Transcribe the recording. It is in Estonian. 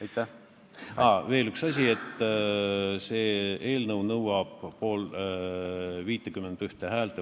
Siiski, veel üks asi: see eelnõu nõuab vastuvõtmiseks vähemalt 51 häält.